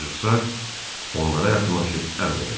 Jussak onlara yaxınlaşıb əmr elədi: